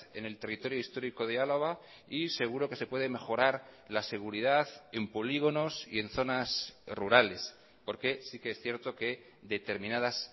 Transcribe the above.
en el territorio histórico de álava y seguro que se puede mejorar la seguridad en polígonos y en zonas rurales porque sí que es cierto que determinadas